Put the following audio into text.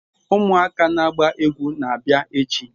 Umuaka na agba egwu na-abia echi